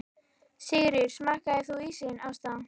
Sigríður: Smakkaðir þú ísinn, Ásta?